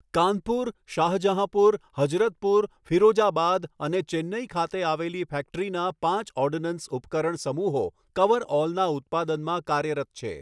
કાનપુર, શાહજહાંપુર, હઝરતપુર ફિરોઝાબાદ અને ચેન્નઇ ખાતે આવેલી ફેક્ટરીના પાંચ ઓર્ડનન્સ ઉપકરણ સમૂહો કવરઓલના ઉત્પાદનમાં કાર્યરત છે.